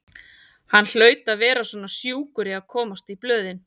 Hann hlaut að vera svona sjúkur í að komast í blöðin.